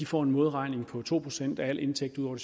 får en modregning på to procent af al indtægt ud over